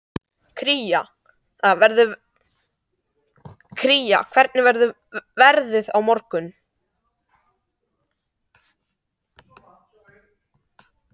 Kira, hvernig verður veðrið á morgun?